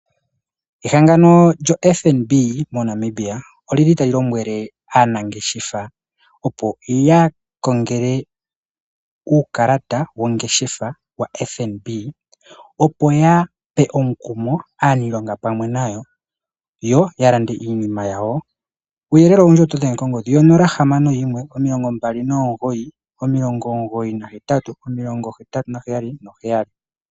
Ehangano lyoFNB moNamibia olyili tali lombwele aanangeshefa opo yakongele uukalata wongeshefa waFNB, opo yape omukumo aaniilonga pamwe nayo yo yalande iinima yawo. Kuuyelele owundji otodhenge kongodhi yo 0612998877.